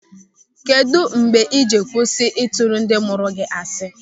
Kedụ mgbe ị jiri kwụsị ịtụrụ ndị mụrụ gị asị?